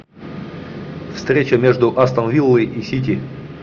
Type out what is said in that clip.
встреча между астон виллой и сити